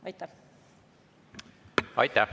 Aitäh!